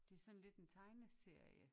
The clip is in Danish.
Det er sådan lidt en tegneserie